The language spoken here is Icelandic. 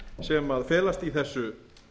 sem felast í þessu